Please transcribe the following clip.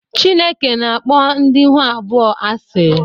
Chineke na-akpọ ndị ihu abụọ asị